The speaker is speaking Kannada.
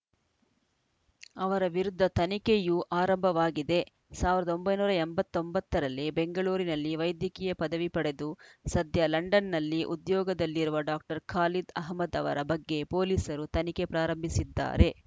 ಅವರ ವಿರುದ್ಧ ತನಿಖೆಯೂ ಆರಂಭವಾಗಿದೆ ಸಾವಿರದ ಒಂಬೈನೂರ ಎಂಬತ್ತ್ ಒಂಬತ್ತು ರಲ್ಲಿ ಬೆಂಗಳೂರಿನಲ್ಲಿ ವೈದ್ಯಕೀಯ ಪದವಿ ಪಡೆದು ಸದ್ಯ ಲಂಡನ್‌ನಲ್ಲಿ ಉದ್ಯೋಗದಲ್ಲಿರುವ ಡಾಕ್ಟರ್ ಖಾಲಿದ್‌ ಅಹಮದ್‌ ಅವರ ಬಗ್ಗೆ ಪೊಲೀಸರು ತನಿಖೆ ಪ್ರಾರಂಭಿಸಿದ್ದಾರೆ